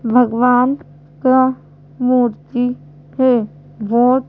भगवान का मूर्ति है बहोत--